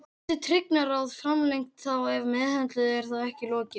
Þó getur Tryggingaráð framlengt þá ef meðhöndlun er þá ekki lokið.